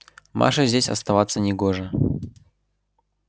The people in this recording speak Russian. маше здесь оставаться не гоже